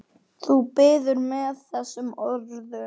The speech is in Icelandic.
Þú biður með þessum orðum.